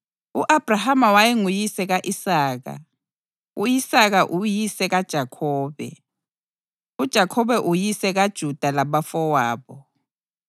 U-Abhrahama wayenguyise ka-Isaka, u-Isaka uyise kaJakhobe, uJakhobe uyise kaJuda labafowabo,